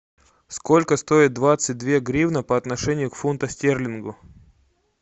сколько стоит двадцать две гривны по отношению к фунту стерлингу